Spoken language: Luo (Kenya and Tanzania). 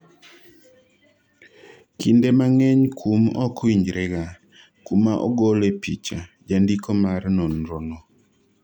kinde mang'eny kum ok winjre ga, kuma ogole picha , jandiko mar nonro no